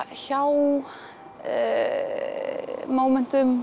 hjá